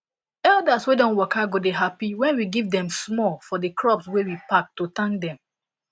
elders wey don waka go dey happy when we give them small for the crops wey we pack to thank them